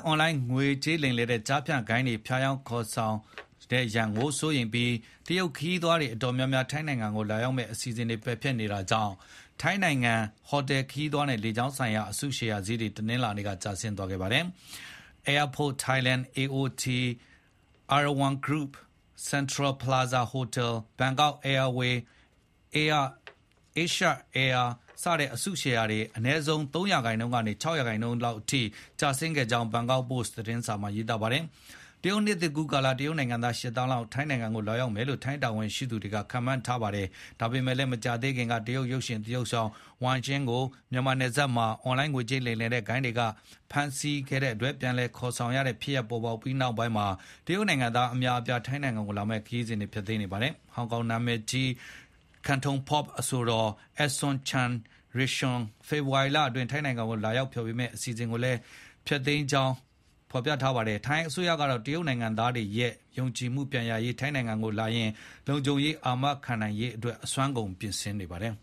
အွန်လိုင်းငွေကြေးလိမ်လည်တဲ့ ကျားဖြန့် ဂိုဏ်းတွေ ဖြားယောင်းခေါ်ယူတဲ့ရန်ကို စိုးရိမ်ပြီး တရုတ်ခရီးသည်တော်တော်များများ ထိုင်းနိုင်ငံကို လာရောက်မယ့် ခရီးစဉ်တွေ ပယ်ဖျက်နေတာကြောင့် ထိုင်းနိုင်ငံ ဟော်တယ်ခရီးသွားနဲ့ လေကြောင်းလိုင်းဆိုင်ရာ အစုရှယ်ယာဈေးတွေ တနင်္လာနေ့က ကျဆင်းခဲ့ပါတယ်။ Airports of Thailand (AOT) Erawan Group (ERW) Central Plaza Hotel (CENTEL) Bangkok Airways (BA) နဲ့ Asia Aviation (AAV) စတဲ့ အစုရှယ်ယာ အနည်းဆုံး ၃ ရာခိုင်နှုန်းနီးပါးကနေ ၆ ရာခိုင်နှုန်းလောက်အထိ ကျဆင်းခဲ့တဲ့အကြောင်း ဘန်ကောက်ပို့စ် သတင်းစာမှာရေးပါတယ်။ တရုတ်နှစ်သစ်ကူးကာလ တရုတ်နိုင်ငံသား ၈ သန်းလောက် ထိုင်းနိုင်ငံကို လာရောက်မယ်လို့ ထိုင်း တာဝန်ရှိသူတွေ ခန့်မှန်းထားကြတာပါ။ ဒါပေမဲ့လည်း မကြာသေးခင်က တရုတ် ရုပ်ရှင်သရုပ်ဆောင် Wang Xing ကို မြန်မာနယ်စပ်မှာ အွန်လိုင်းငွေကြေးလိမ်လည်တဲ့ ဂိုဏ်းတွေဆီက ပြန်လည်ကယ်ဆယ်ခဲ့ရတဲ့ ဖြစ်ရပ် ပေါ်ပေါက်ပြီးနောက်မှာ တရုတ်နိုင်ငံသား အများအပြား ထိုင်းနိုင်ငံကို လာမယ့် ခရီးစဉ်တွေ ဖျက်သိမ်းနေပါတယ်။ ဟောင်ကောင် နာမယ်ကြီး Cantopop အဆိုတော် Eason Chan Yik-shun ဖေဖေါ်ဝါရီလအတွင်း ထိုင်းနိုင်ငံမှာ လာရောက်ဖျော်ဖြေဖို့ စီစဉ်ထားတဲ့ ဖျော်ဖြေပွဲကို လုံခြုံရေးအကြောင်းပြချက်နဲ့ ဖျက်သိမ်းလိုက်ပါတယ်။ ထိုင်းအစိုးရကတော့ တရုတ်နိုင်ငံသားတွေရဲ့ ယုံကြည်မှု ပြန်ရရေး၊ ထိုင်းနိုင်ငံကို လာရင် လုံခြုံရေးအာမခံနိုင်ရေးအတွက် အစွမ်းကုန် ပြင်ဆင်နေပါတယ်